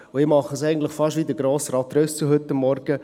Und ich mache es eigentlich fast wie Grossrat Trüssel heute Morgen: